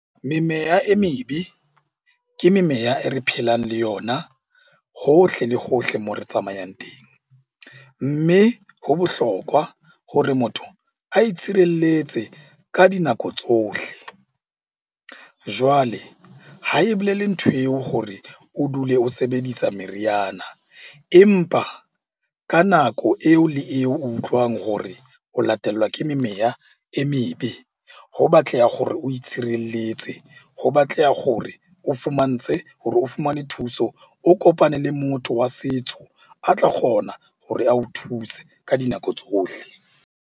Memeya e mebe ke memeya e re phelang le yona hohle le hohle moo re tsamayang teng. Mme ho bohlokwa hore motho a itshirelletse ka dinako tsohle. Jwale ha e bolele ntho eo hore o dule o sebedisa meriana, empa ka nako eo le eo o utlwang hore o latelwa ke memeya e mebe. Ho batleha hore o itshireletse, ho batleha hore o fumanetse hore o fumane thuso. O kopane le motho wa setso a tla kgona hore ao thuse ka dinako tsohle.